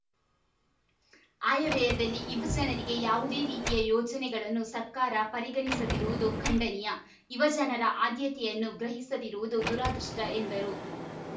ಆಯವ್ಯಯದಲ್ಲಿ ಯುವಜನರಿಗೆ ಯಾವುದೇ ರೀತಿಯ ಯೋಜನೆಗಳನ್ನು ಸರ್ಕಾರ ಪರಿಗಣಿಸದಿರುವುದು ಖಂಡನೀಯ ಯುವಜನರ ಆದ್ಯತೆಯನ್ನು ಗ್ರಹಿಸದಿರುವುದು ದುರಾದೃಷ್ಟಎಂದರು